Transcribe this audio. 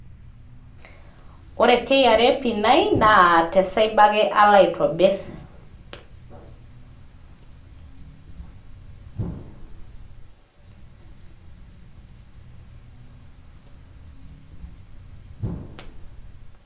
ore KRA pin ai naa te[cs cyber ake alo aitobir